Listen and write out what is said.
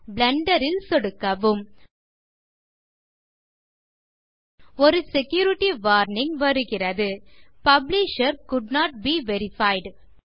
Blender ல் சொடுக்கவும் ஒரு செக்யூரிட்டி வார்னிங் வருகிறது publisher could not be verified